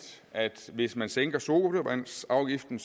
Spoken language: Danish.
at hvis man sænker sodavandsafgiften